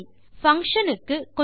சரி பங்ஷன் க்கு